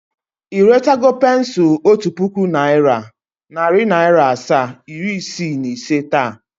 I retago pensul Otu puku naira, nari naira asaa, iri isii na ise taa?